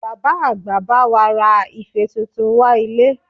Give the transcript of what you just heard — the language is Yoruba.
Bàbá àgbà bá wa ra ife tuntun wá ilé